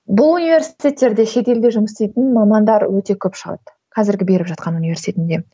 бұл университеттерде шетелде жұмыс істейтін мамандар өте көп шығады қазіргі беріп жатқан университетімде